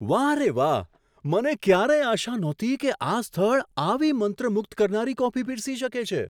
વાહ રે વાહ! મને ક્યારેય આશા નહોતી કે આ સ્થળ આવી મંત્રમુગ્ધ કરનારી કોફી પીરસી શકે છે.